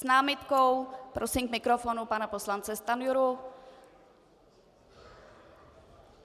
S námitkou prosím k mikrofonu pana poslance Stanjuru.